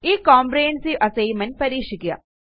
ഈ comprehensive assignment പരീക്ഷിക്കുക